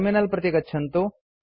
terminal प्रति गच्छन्तु